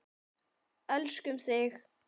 Elskum þig.